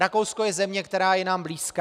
Rakousko je země, která je nám blízká.